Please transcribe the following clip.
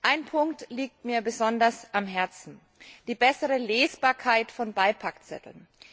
Ein Punkt liegt mir besonders am Herzen die bessere Lesbarkeit von Beipackzetteln.